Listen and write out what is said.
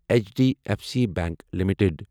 H D F C bank limited